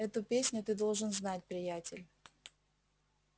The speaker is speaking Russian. эту песню ты должен знать приятель